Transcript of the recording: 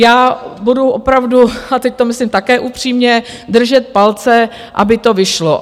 Já budu opravdu - a teď to myslím také upřímně - držet palce, aby to vyšlo.